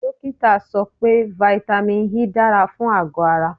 Dókítà sọ pé vitamin E dára fún àgọ̀ ara.